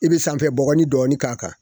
I bɛ sanfɛ bɔgɔnin dɔɔnin k'a kan